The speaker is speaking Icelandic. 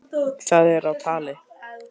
Það er á tali.